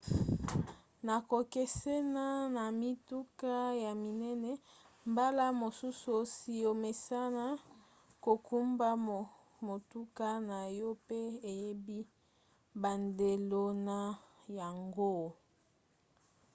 na kokesena na mituka ya minene mbala mosusu osi omesana kokumba motuka na yo pe oyebi bandelo na yango